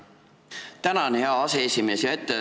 Tänan, hea aseesimees!